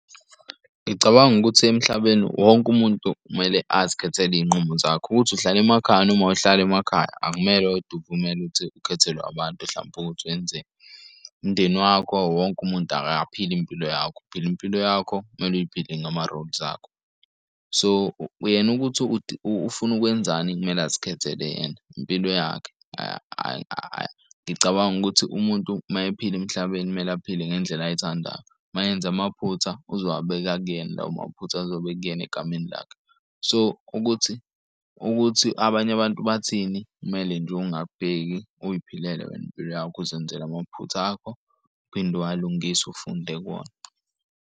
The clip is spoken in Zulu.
Ngicabanga ukuthi emhlabeni wonke umuntu kumele azikhethele iy'nqumo zakhe, ukuthi uhlala emakhaya noma awuhlali emakhaya. Akumele kodwa uvumele ukuthi ukhethelwe abantu hlampe ukuthi wenzeni. Umndeni wakho wonke umuntu akaphili impilo yakho, uphila impilo yakho, kumele uyiphile ngama-rules akho. So, yena ukuthi ufuna ukwenzani kumele azikhethele yena impilo yakhe . Ngicabanga ukuthi umuntu mayephila emhlabeni kumele aphile ngendlela ayithandayo, mayenze amaphutha uzowabeka kuyena lawo maphutha, azobe ekuyena egameni lakhe. So, ukuthi ukuthi abanye abantu bathini kumele nje ungak'bheki uziphelele wena impilo yakho uzenzele amaphutha akho. Uphinde uwalungise, ufunde kuwona.